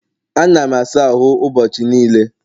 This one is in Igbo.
Ana m asa ahụ ụbọchị niile